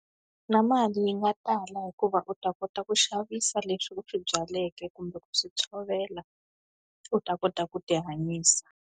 Na mali yi nga tala hikuva u ta kota ku xavisa leswi u swi byaleke kumbe ku swi tshovela, u ta kota ku tihanyisa.